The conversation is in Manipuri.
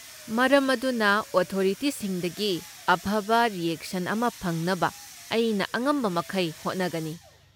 ꯃꯔꯝ ꯑꯗꯨꯅ, ꯑꯣꯊꯣꯔꯤꯇꯤꯁꯤꯡꯗꯒꯤ ꯑꯐꯕ ꯔꯤꯑꯦꯛꯁꯟ ꯑꯃ ꯐꯪꯅꯕ ꯑꯩꯅ ꯑꯉꯝꯕꯃꯈꯩ ꯍꯣꯠꯅꯒꯅꯤ꯫